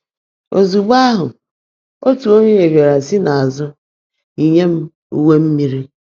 Ozugbo ahụ, otu onye bịara si n’azụ yinye m uwe mmiri.